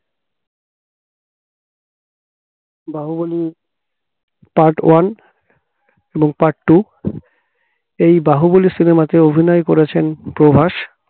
Baahubali part one এবং part two এই Baahubali cinema তে অভিনয় করেছেন প্রভাস